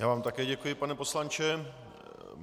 Já vám také děkuji, pane poslanče.